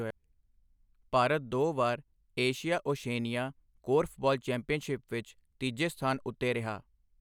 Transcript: ਭਾਰਤ ਦੋ ਵਾਰ Asia Oceania korfball championship ਵਿੱਚ ਤੀਜੇ ਸਥਾਨ ਉੱਤੇ ਰਿਹਾ।